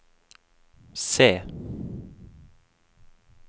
C